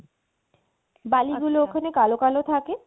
আচ্ছা বালিগুলো ওখানে কালো কালো থাকে